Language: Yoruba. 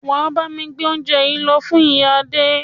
Wà á bámi gbé óúnje yìí lọ fún ìyá Adé!